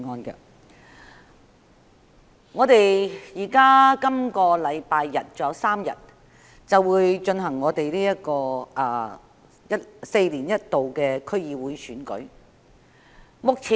距離今個星期日還有3天，便舉行4年一度的區議會選舉。